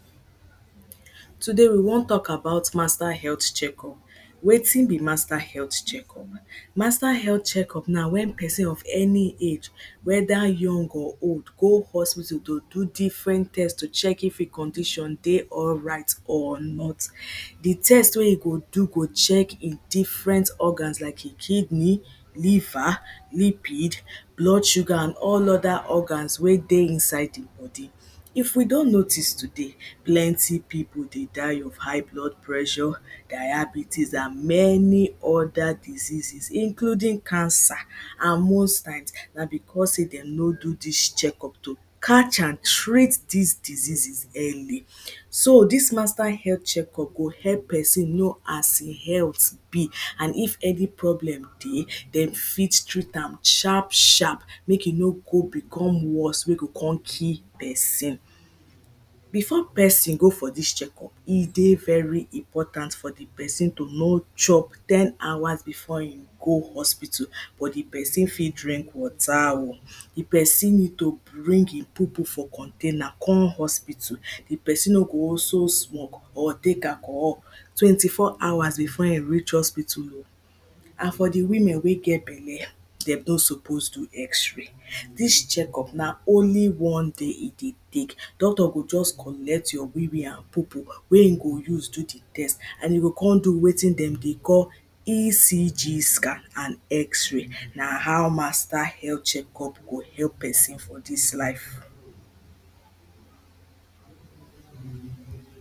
Today we wan talk about master health check up, wetin be master health check up? master health check up na wen person of any age whether young or old go hospital to do different test to check if e condition dey alright or not. The test wey e go do go check different organs like e kidney, liver, lipid, blood sugar and all other organs wey dey inside di body. If we don notice today plenty people dey die of high blood pressure, diabetes and many other diseases including cancer and most times na because dem no do dis check up to catch and treat dis diseases early. So dis master health check up go help person know as him health be and if any problem dey dem fit treat am sharp sharp make e no come become worst wen go come kill person. Before person go for dis check up, e dey very important for di person to no chop ten hours before im go hospital. But di person fit drink water oh, di person need to bring im poopoo for container come hospital. Di person no go also smoke or take alchohol twenty four hours before im reach hospital o and for di women wey get belle dem no suppose do x-ray, dis check up na only one day e dey take. Doctor go just collect your weewee and poopooo wey im go use do di test, and im go come do wetin dem dey call, E.C.G SCAN and x-ray. Na how master health check up go help person for dis life